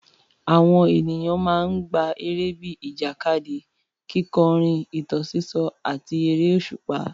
Àwọn ènìyàn máa ń gbá eré bíi ìjàkadì, kíkọrin, ìtàn sísọ, àti eré òṣùpá.